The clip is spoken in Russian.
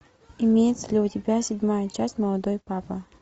имеется ли у тебя седьмая часть молодой папа